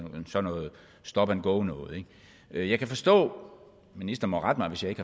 stop and go noget jeg kan forstå ministeren må rette mig hvis ikke